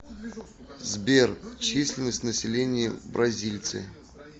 сбер численность населения бразильцы